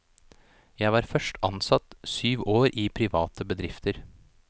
Jeg var først ansatt syv år i private bedrifter.